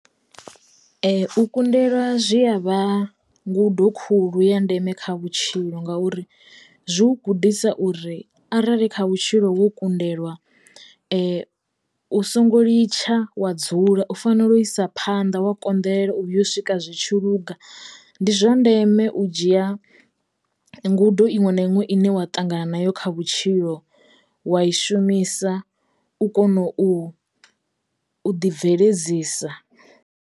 U kundelwa zwi ya vha ngudo khulu ya ndeme kha vhutshilo ngauri zwi u gudisa uri arali kha vhutshilo wo kundelwa u songo litsha wa dzula u fanelo u isa phanḓa wa konḓelela u vhuya u swika zwitshi luga ndi zwa ndeme u dzhia ngudo iṅwe na iṅwe ine wa ṱangana nayo kha vhutshilo wa i shumisa u kono u u ḓi bveledzisa.